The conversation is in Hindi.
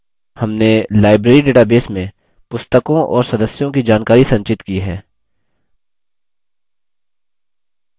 हमने library database में पुस्तकों और सदस्यों की जानकारी संचित की है